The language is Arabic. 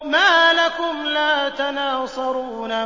مَا لَكُمْ لَا تَنَاصَرُونَ